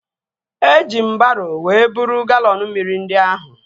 Eji m baro wee buru galọn mmiri ndị ahụ